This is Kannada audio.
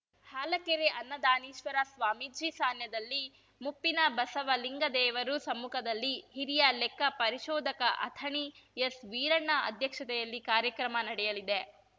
ಹಾಲಕೆರೆ ಅನ್ನದಾನೀಶ್ವರ ಸ್ವಾಮೀಜಿ ಸಾನ್ನಿಧ್ಯದಲ್ಲಿ ಮುಪ್ಪಿನ ಬಸವಲಿಂಗದೇವರು ಸಮ್ಮುಖದಲ್ಲಿ ಹಿರಿಯ ಲೆಕ್ಕ ಪರಿಶೋಧಕ ಅಥಣಿ ಎಸ್‌ವೀರಣ್ಣ ಅಧ್ಯಕ್ಷತೆಯಲ್ಲಿ ಕಾರ್ಯಕ್ರಮ ನಡೆಯಲಿದೆ